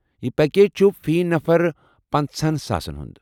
یہِ پیکیج چُھ فی نفر پنٛژاہَس ساسن ہُنٛد